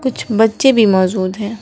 कुछ बच्चे भी मौजूद हैं।